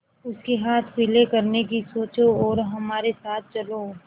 उसके हाथ पीले करने की सोचो और हमारे साथ चलो